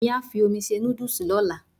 Èmí á fi omi se nódùsì lọ́la